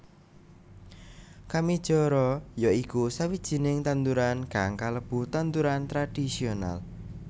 Kamijara ya iku sawijining tanduran kang kalebu tanduran tradhisional